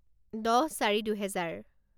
দহ চাৰি দুহেজাৰ